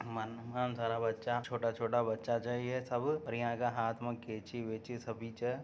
मन मन सारा बच्चा छोटा छोटा बच्चा सा है सब और यहॉं का हाथ में केचि वेचि सभी छे।